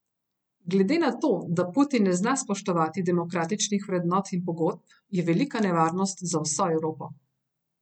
Glede na to, da Putin ne zna spoštovati demokratičnih vrednot in pogodb, je velika nevarnost za vso Evropo.